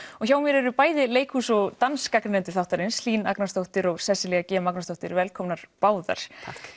hjá mér eru bæði leikhús og dansgagnrýnendur þáttarins Hlín Agnarsdóttir Sesselja g Magnúsdóttir verið velkomnar báðar